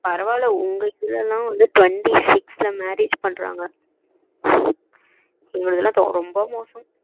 பரவ இல்ல உங்க இதுலலா வந்து twenty six ல marriage பண்றாங்க எங்க இதுல ரொம்ப மோசம்